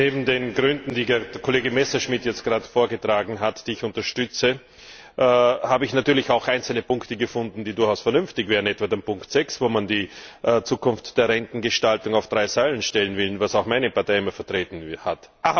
Neben den Gründen, die der Kollege Messerschmidt jetzt gerade vorgetragen hat, die ich unterstütze, habe ich natürlich auch einzelne Punkte gefunden, die durchaus vernünftig wären, etwa die Ziffer 6, wo man die Zukunft der Rentengestaltung auf drei Säulen stellen will, was auch meine Partei immer vertreten hat.